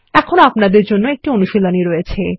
এখানে আপনার জন্য একটি অনুশীলনী আছে